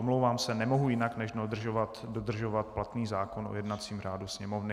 Omlouvám se, nemohu jinak, než dodržovat platný zákon o jednacím řádu Sněmovny.